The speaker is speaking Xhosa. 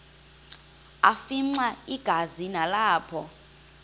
afimxa igazi nalapho